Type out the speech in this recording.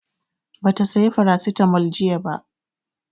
Ba ta saya Farasitamol jiya ba